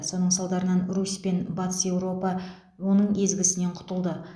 соның салдарынан русь пен батыс еуропа оның езгісінен құтылды